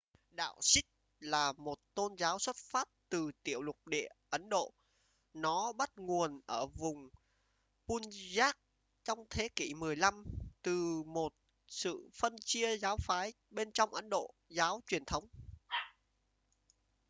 đạo sikh là một tôn giáo xuất phát từ tiểu lục địa ấn độ nó bắt nguồn ở vùng punjab trong thế kỷ 15 từ một sự phân chia giáo phái bên trong ấn độ giáo truyền thống